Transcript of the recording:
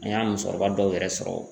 An y'a musokɔrɔba dɔw yɛrɛ sɔrɔ